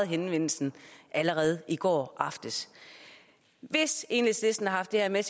henvendelsen allerede i går aftes hvis enhedslisten har haft det her med